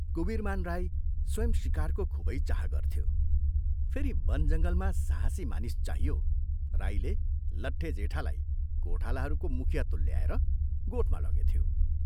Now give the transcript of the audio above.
कुवीरमान राई स्वयं शिकारको खूबै चाह गर्थ्यो, फेरि वन जंगलमा साहसी मानिस चाहियो राईले लट्टे जेठालाई गोठालाहरूको मुखिया तुल्याएर गोठमा लगेथ्यो।